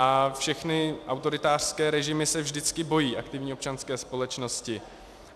A všechny autoritářské režimy se vždycky bojí aktivní občanské společnosti.